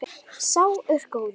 Sá er góður.